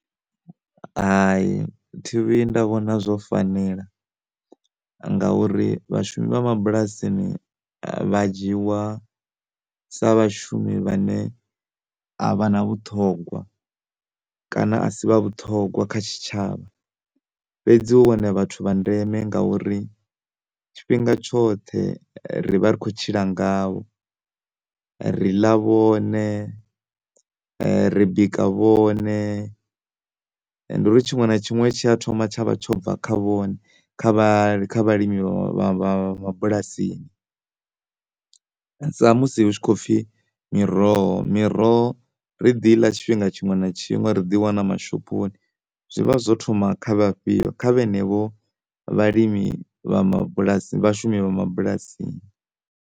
Hai thi vhuyi nda vhona zwo fanelanga uri vhashumi vha mabulasini vha dzhiwa sa vhashumi vhane a vhana vhuṱhogwa kana a si vha vhuṱhogwa kha tshitshavha fhedzi hu vhone vhathu vha ndeme nga uri tshifhinga tshoṱhe ri vha ri kho tshila ngavho, riḽa vhone, ri bika vhone, ndi uri tshiṅwe na tshiṅwe tshia thoma tshavha tsho bva kha vhone kha vha kha vha vha vhalimi vha mabulasini. Sa musi hu tshi kho pfi miroho miroho ri ḓi iḽa tshifhinga tshiṅwe na tshiṅwe ri ḓi i wana mashophoni, zwi vha zwo thoma kha vha fhio kha vhenevho vhalimi vha mabulasini vhashumi vha mabulasini.